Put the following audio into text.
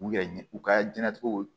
U yɛrɛ ɲɛ u ka diɲɛnatigɛw